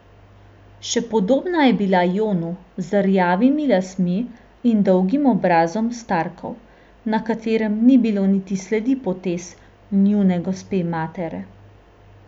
Še podobna je bila Jonu, z rjavimi lasmi in dolgim obrazom Starkov, na katerem ni bilo niti sledi potez njune gospe matere.